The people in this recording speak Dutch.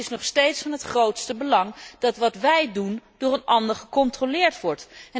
Maar het is nog steeds van het grootste belang dat wat wij doen door een ander gecontroleerd wordt.